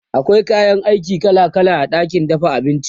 akwai kayan aiki kala kala a ɗakin dafa abinci